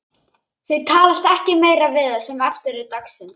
Þau talast ekki meira við það sem eftir er dagsins.